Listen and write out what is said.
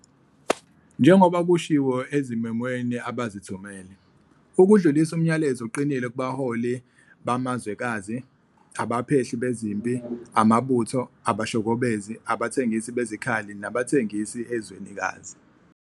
njengoba kushiwo ezimemweni abazithumele, "Ukudlulisa umyalezo oqinile kubaholi bamazwekazi, abaphehli bezimpi, amabutho, abashokobezi, abathengisi bezikhali nabathengisi ezwenikazi.